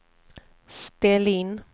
ställ in